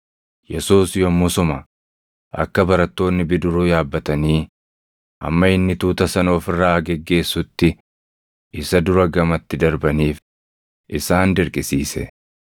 Yesuus yommusuma akka barattoonni bidiruu yaabbatanii hamma inni tuuta sana of irraa geggeessutti isa dura gamatti darbaniif isaan dirqisiise.